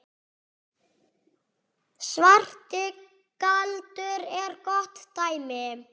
Svarti galdur er gott dæmi.